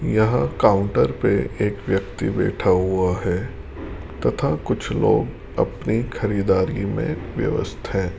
यहां काउंटर पे एक व्यक्ति बैठा हुआ है तथा कुछ लोग अपनी खरीददारी में व्यस्त हैं।